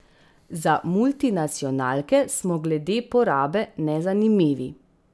Za multinacionalke smo glede porabe nezanimivi.